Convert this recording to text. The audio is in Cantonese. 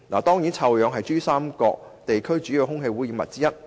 當然，臭氧是珠江三角洲地區主要的空氣污染物之一。